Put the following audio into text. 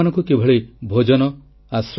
ଶିବକୁମାର ସ୍ୱାମୀଜୀ ଏହି ଦର୍ଶନର ଅନୁଗାମୀ ଥିଲେ